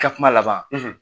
I ka kuma laban.